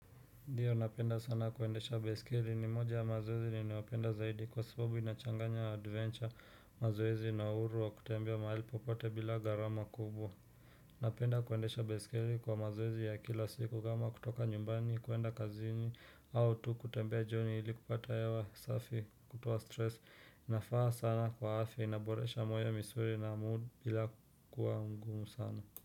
Ndiyo napenda sana kuendesha besikiri ni moja ya mazoezi ni ninayopenda zaidi kwa sababu inachanganya adventure mazoezi na uhuru wa kutembia mahali popote bila garama kubwa Napenda kuendesha besikiri kwa mazoezi ya kila siku kama kutoka nyumbani kuenda kazini au tu kutembea joni ili kupata hewa safi kutuwa stress inafaa sana kwa afya inaboresha moyo misuri na mood bila kuwa ngumu sana.